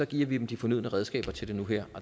giver vi den de fornødne redskaber til nu her